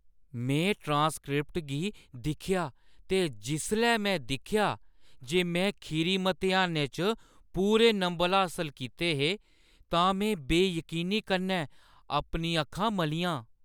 में ट्रांसक्रिप्ट गी दिक्खेआ ते जिसलै में दिक्खेआ जे में खीरी मतेहानै च पूरे नंबर हासल कीते हे, तां में बेयकीनी कन्नै अपनियां अक्खां मलियां।